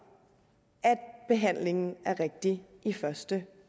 at behandlingen er rigtig i første